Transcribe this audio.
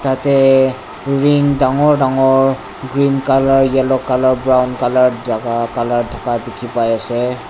tateh wing danggor danggor green colour yellow colour jagah colour thaka tu kipai ase.